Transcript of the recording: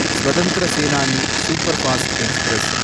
Swatantra Senani superfast express